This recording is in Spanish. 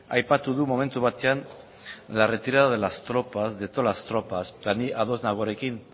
aipatu du momentu batean la retirada de las tropas de todas las tropas eta ni ados nago honekin